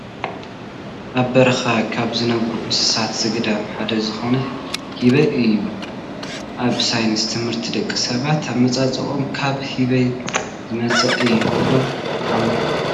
ኣብ በረኻ ካብ ዝነብሩ እንስሳ ዘገዳም ሓደ ዝኾነ ህበይ እዩ፡፡ ኣብ ሳይንስ ት/ቲ ደቂ ሰባት ኣመፃፅኦኦም ካብ ህበይ ዝመፀ እዩ ኢሉ ይኣምን፡፡